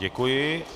Děkuji.